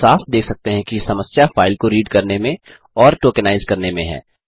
हम साफ़ देख सकते हैं कि समस्या फाइल को रीड करने में और टोकेनाइज़ करने में है